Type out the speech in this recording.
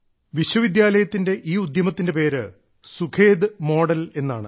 വിശ്വവിദ്യാലയത്തിന്റെ ഈ ഉദ്യമത്തിന്റെ പേര് സുഖേദ് മോഡൽ എന്നാണ്